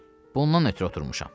Bundan ötrü oturmuşam.